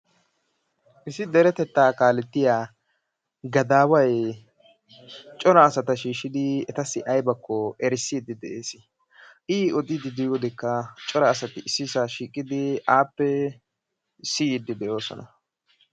issi deretettaa kaalettiya gadaway cora asaa shiishidi aybakko odiidi de'ees, i oddiyodekka asay appe siyiidi de'oososna.